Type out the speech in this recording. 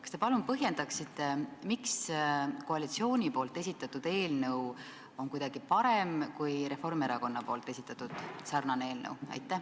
Kas te palun põhjendaksite, miks koalitsiooni esitatud eelnõu on kuidagi parem kui Reformierakonna esitatud sarnase sisuga eelnõu?